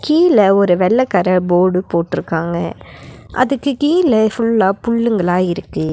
கீழ ஒரு வெள்ள கலர் போர்டு போட்டுருக்காங்க அதுக்கு கீழ ஃபுல்லா புல்லுங்களா இருக்கு.